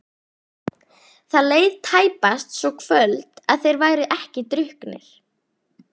Það leið tæpast svo kvöld að þeir væru ekki drukknir.